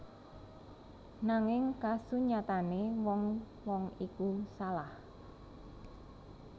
Nanging kasunyatane wong wong iku salah